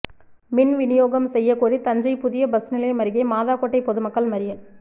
மின் விநியோகம் செய்யகோரி தஞ்சை புதிய பஸ் நிலையம் அருகே மாதாக்கோட்டை பொதுமக்கள் மறியல்